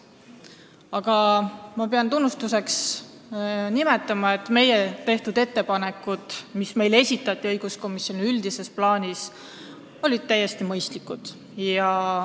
Aga ma pean tunnustuseks ütlema, et ettepanekud, mis esitati õiguskomisjoni, olid üldises plaanis täiesti mõistlikud.